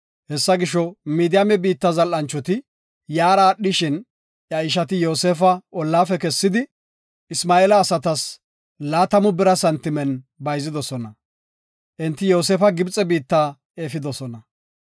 Hessa gisho, Midiyaame biitta zal7anchoti yaara aadhishin, iya ishati Yoosefa ollafe kessidi, Isma7eela asatas laatamu bira santimen bayzidosona. Enti Yoosefa Gibxe biitta efidosona.